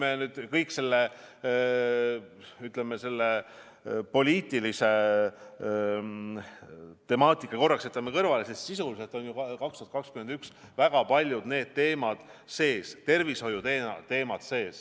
Ent kui me kogu poliitilise temaatika korraks kõrvale jätame, siis sisuliselt on 2021. aasta eelarves need väga paljud teemad sees, ka tervishoiuteemad.